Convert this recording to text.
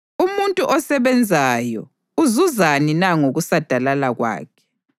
Umuntu osebenzayo uzuzani na ngokusadalala kwakhe?